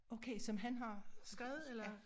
Okay som han har skrevet eller